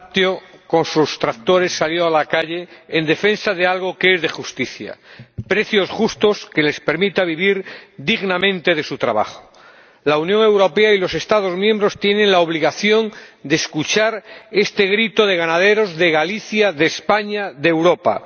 Señor Presidente, los productores del sector lácteo, con sus tractores, salieron a la calle en defensa de algo que es de justicia precios justos que les permitan vivir dignamente de su trabajo. La Unión Europea y los Estados miembros tienen la obligación de escuchar este grito de los ganaderos de Galicia, de España, de Europa.